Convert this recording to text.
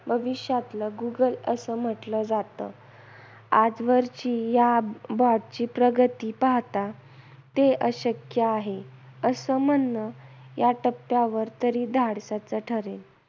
भविष्यातलं गुगल असं म्हटलं जात. आजवरची या BOT ची प्रगती पाहता ते अशक्य आहे, असं म्हणणं या टप्प्यावर तरी धाडसाचं ठरेल.